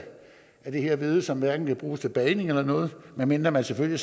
det her hvede som hverken kan bruges til bagning eller noget medmindre man selvfølgelig